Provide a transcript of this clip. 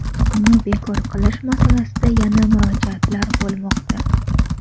uni bekor qilish masalasida yana murojaatlar bo‘lmoqda.